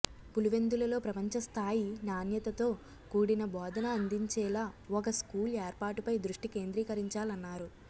పులివెందులలో ప్రపంచ స్థాయి నాణ్యతతో కూడిన బోధన అందించేలా ఒక స్కూల్ ఏర్పాటుపై దృష్టి కేంద్రీకరించాలన్నారు